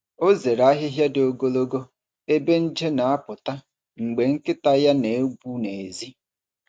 Ọ zere ahịhịa dị ogologo ebe nje na-apụta mgbe nkịta ya na-egwu n’èzí.